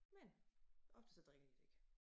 Men ofte så drikker de det ikke